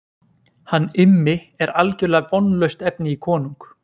Hann Immi er algerlega vonlaust efni í konung.